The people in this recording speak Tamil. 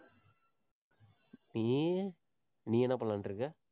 நீ நீ என்ன பண்ணலாம்னுட்டு இருக்க